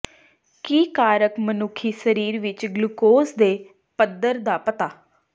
ਕੀ ਕਾਰਕ ਮਨੁੱਖੀ ਸਰੀਰ ਵਿੱਚ ਗਲੂਕੋਜ਼ ਦੇ ਪੱਧਰ ਦਾ ਪਤਾ